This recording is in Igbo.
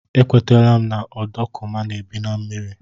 E kwetela m na ọdọkụma na-ebi na mmiri.